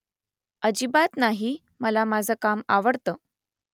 अजिबात नाही मला माझं काम आवडतं